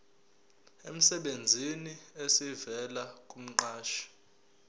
emsebenzini esivela kumqashi